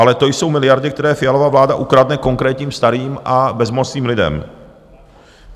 Ale to jsou miliardy, které Fialova vláda ukradne konkrétním starým a bezmocným lidem.